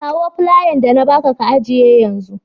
Kawo flayan da na ba ka, ka ajiye yanzun.